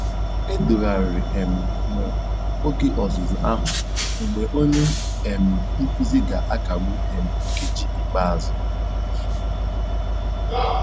Edogharịrị um m oge ọzụzụ ahụ mgbe onye um nkuzi ga-akagbu um nkeji ikpeazụ.